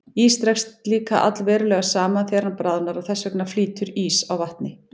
Ís dregst líka allverulega saman þegar hann bráðnar og þess vegna flýtur ís á vatni.